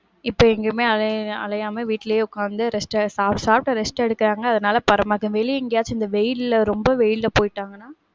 இப்ப எங்கயுமே அலைய~ அலையாம வீட்லயே உக்காந்து rest ட்டு, சாப்ட்டு rest எடுக்காங்க, அதுனால வெளிய எங்கயாச்சி இந்த வெயில்ல, ரொம்ப வெயில்ல போயிட்டங்கனா,